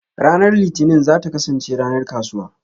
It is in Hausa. Ranar Litinin za ta kasance ranar kasuwa.